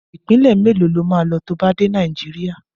Ìpínlẹ̀ mélòó lo máa lọ to bá dé Nàìjíríà?